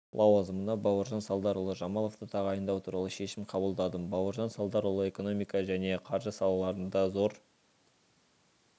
лауазымына бауыржан салдарұлы жамаловты тағайындау туралы шешім қабылдадым бауыржан салдарұлы экономика және қаржы салаларында зор